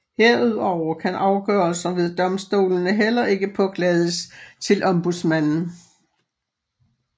Herudover kan afgørelser ved domstolene heller ikke påklages til ombudsmanden